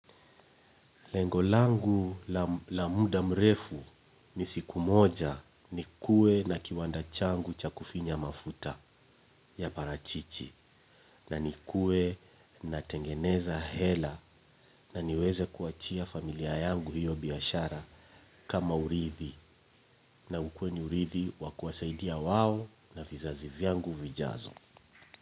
Lengo langu la muda mrefu ni siku moja nikuwe na kiwanda changu cha kufinya mafuta ya parachichi na nikuwe natengeneza hela na niweze kuachia familia yangu hiyo biashara kama urithi na ukuwe ni urithi wa kuwasaidia wao na vizazi vyangu vijazo.